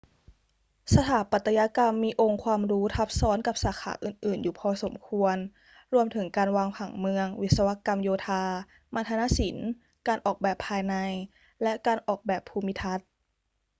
สถาปัตยกรรมมีองค์ความรู้ทับซ้อนกับสาขาอื่น ๆ อยู่พอสมควร รวมถึงการวางผังเมือง วิศวกรรมโยธา มัณฑนศิลป์ การออกแบบภายใน และการออกแบบภูมิทัศน์